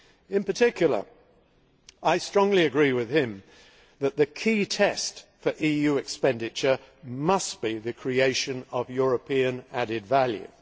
In particular, I strongly agree with him that the key test for EU expenditure must be the creation of European added value.